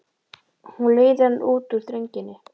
Hún leiðir hann út úr þrönginni.